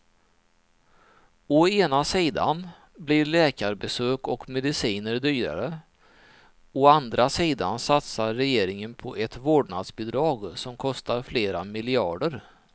Å ena sidan blir läkarbesök och mediciner dyrare, å andra sidan satsar regeringen på ett vårdnadsbidrag som kostar flera miljarder.